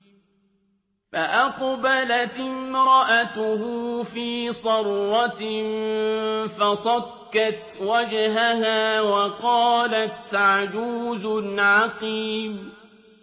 فَأَقْبَلَتِ امْرَأَتُهُ فِي صَرَّةٍ فَصَكَّتْ وَجْهَهَا وَقَالَتْ عَجُوزٌ عَقِيمٌ